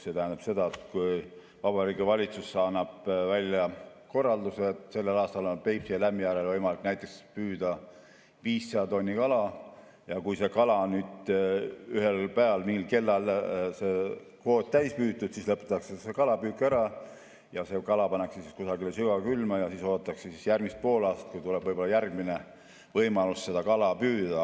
See tähendab seda, et kui Vabariigi Valitsus annab välja korralduse, et sellel aastal on Peipsil ja Lämmijärvel võimalik näiteks püüda 500 tonni kala, ja kui ühel päeval mingil kellaajal on see kvoot täis püütud, siis lõpetatakse see kalapüük ära, kala pannakse kusagile sügavkülma ja siis oodatakse järgmist poolaastat, kui tuleb järgmine võimalus seda kala püüda.